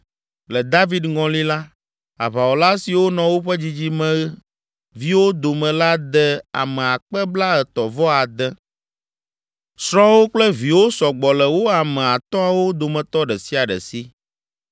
Le David ŋɔli la, aʋawɔla siwo nɔ woƒe dzidzimeviwo dome la de ame akpe blaetɔ̃ vɔ ade (36,000). Srɔ̃wo kple viwo sɔ gbɔ le wo ame atɔ̃awo dometɔ ɖe sia ɖe si.